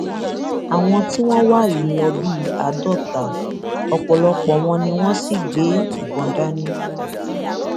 àwọn tí wọn wá yìí ń lò bíi àádọta ọpọlọpọ wọn ni wọn sì gbé ìbọn dání